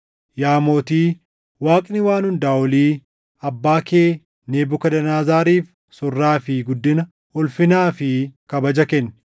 “Yaa mootii, Waaqni Waan Hundaa Olii abbaa kee Nebukadnezariif surraa fi guddina, ulfinaa fi kabaja kenne.